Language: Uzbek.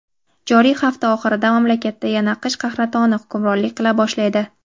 joriy hafta oxirida mamlakatda yana qish qahratoni hukmronlik qila boshlaydi.